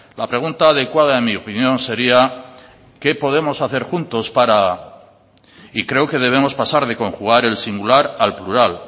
la pregunta adecuada en mi opinión sería qué podemos hacer juntos para y creo que debemos pasar de conjugar el singular al plural